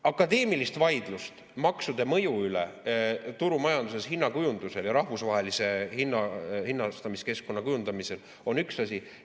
Akadeemiline vaidlus maksude mõju üle turumajanduses hinnakujundamisel ja rahvusvahelise hinnastamiskeskkonna kujundamisel on üks asi.